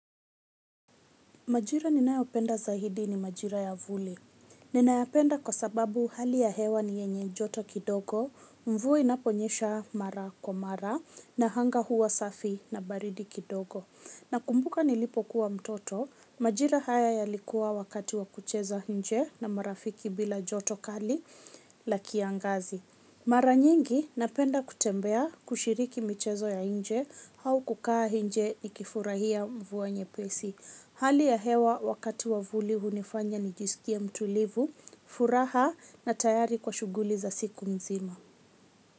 Majira ninayopenda zaidi ni majira ya vuli. Ninayapenda kwa sababu hali ya hewa ni yenye joto kidogo, mvua inaponyesha mara kwa mara na anga huwa safi na baridi kidogo. Na kumbuka nilipo kuwa mtoto, majira haya yalikuwa wakati wa kuchezo nje na marafiki bila joto kali la kiangazi. Mara nyingi napenda kutembea kushiriki michezo ya nje au kukaa nje ni kifurahia mvua nyepesi. Hali ya hewa wakati wa vuli hunifanya nijisikie mtulivu, furaha na tayari kwa shuguli za siku nzima.